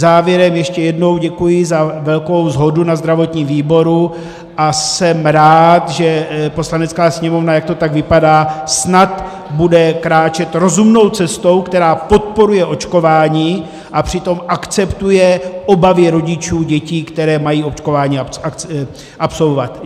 Závěrem ještě jednou děkuji za velkou shodu na zdravotním výboru a jsem rád, že Poslanecká sněmovna, jak to tak vypadá, snad bude kráčet rozumnou cestou, která podporuje očkování a přitom akceptuje obavy rodičů dětí, které mají očkování absolvovat.